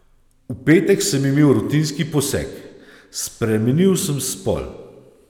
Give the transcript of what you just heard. V petek sem imel rutinski poseg, spremenil sem spol.